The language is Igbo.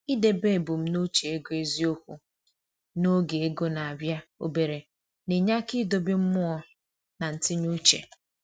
I debe ebumnuche ego eziokwu n’oge ego na-abịa obere na-enye aka idobe mmụọ na ntinye uche.